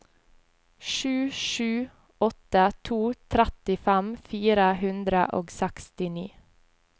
sju sju åtte to trettifem fire hundre og sekstini